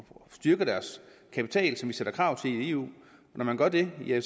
styrke deres kapital som vi stiller krav til i eu og når man gør det bliver